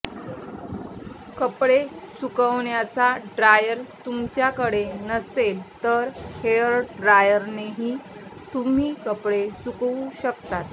कपडे सुकवण्याचा ड्रायर तुमच्याकडे नसेल तर हेअर ड्रायरनेही तुम्ही कपडे सुकवू शकता